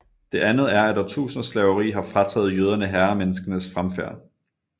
Det andet er at årtusinders slaveri har frataget jøderne herremenneskenes fremfærd